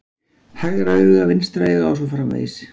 Hægra auga vinstra auga os. frv.